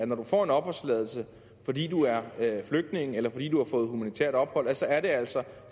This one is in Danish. når du får en opholdstilladelse fordi du er flygtning eller fordi du har fået humanitært ophold så er det altså